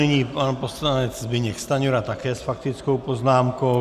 Nyní pan poslanec Zbyněk Stanjura také s faktickou poznámkou.